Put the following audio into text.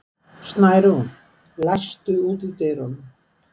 Snærún, læstu útidyrunum.